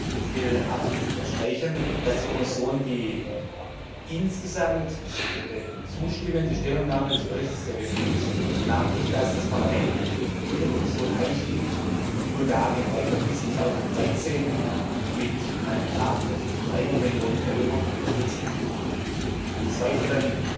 Ich will abschließend unterstreichen, dass die Kommission die insgesamt zustimmende Stellungnahme des Berichts sehr begrüßt, namentlich dass das Parlament mit der Kommission einig geht, Bulgarien weiter bis 2013 mit einem Betrag von 300 Millionen Euro zu unterstützen, des weiteren